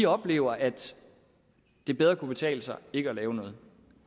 oplever at det bedre kan betale sig ikke at lave noget